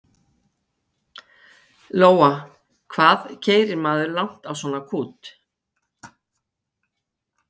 Lóa: Hvað keyrir maður langt á svona kút?